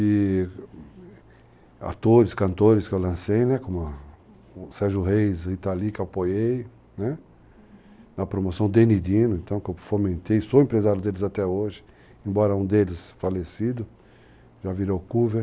E atores, cantores que eu lancei, né, como Sérgio Reis, Italy, que apoiei, né, uhum, na promoção, Deni Dino, então, que eu fomentei, sou empresário deles até hoje, embora um deles falecido, já virou cover.